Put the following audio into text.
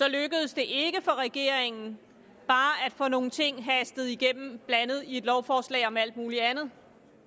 lykkedes regeringen bare at få nogle ting hastet igennem og blandet ind i et lovforslag om alt muligt andet